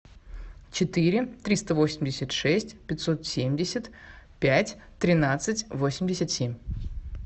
четыре триста восемьдесят шесть пятьсот семьдесят пять тринадцать восемьдесят семь